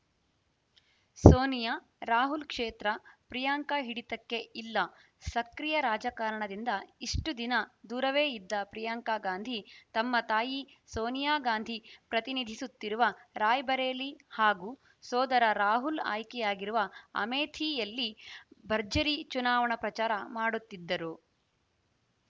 ಸೋನಿಯಾ ರಾಹುಲ್‌ ಕ್ಷೇತ್ರ ಪ್ರಿಯಾಂಕಾ ಹಿಡಿತಕ್ಕೆ ಇಲ್ಲ ಸಕ್ರಿಯ ರಾಜಕಾರಣದಿಂದ ಇಷ್ಟುದಿನ ದೂರವೇ ಇದ್ದ ಪ್ರಿಯಾಂಕಾ ಗಾಂಧಿ ತಮ್ಮ ತಾಯಿ ಸೋನಿಯಾ ಗಾಂಧಿ ಪ್ರತಿನಿಧಿಸುತ್ತಿರುವ ರಾಯ್‌ಬರೇಲಿ ಹಾಗೂ ಸೋದರ ರಾಹುಲ್‌ ಆಯ್ಕೆಯಾಗಿರುವ ಅಮೇಠಿಯಲ್ಲಿ ಭರ್ಜರಿ ಚುನಾವಣಾ ಪ್ರಚಾರ ಮಾಡುತ್ತಿದ್ದರು